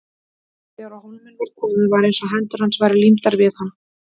Þegar á hólminn var komið var eins og hendur hans væru límdar við hann.